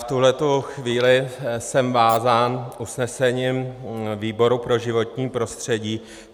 V tuhle chvíli jsem vázán usnesením výboru pro životní prostředí.